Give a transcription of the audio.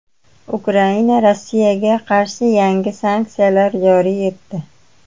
Ukraina Rossiyaga qarshi yangi sanksiyalar joriy etdi.